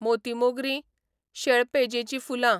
मोती मोगरी, शेळपेजेचीं फुलां